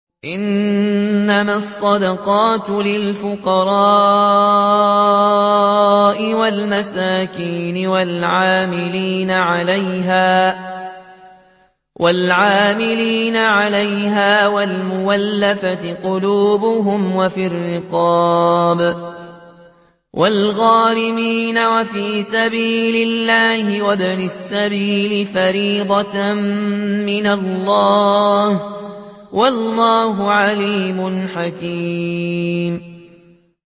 ۞ إِنَّمَا الصَّدَقَاتُ لِلْفُقَرَاءِ وَالْمَسَاكِينِ وَالْعَامِلِينَ عَلَيْهَا وَالْمُؤَلَّفَةِ قُلُوبُهُمْ وَفِي الرِّقَابِ وَالْغَارِمِينَ وَفِي سَبِيلِ اللَّهِ وَابْنِ السَّبِيلِ ۖ فَرِيضَةً مِّنَ اللَّهِ ۗ وَاللَّهُ عَلِيمٌ حَكِيمٌ